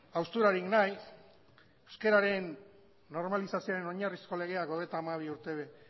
hausturarik nahi euskararen normalizazioen oinarrizko legeak hogeita hamabi urte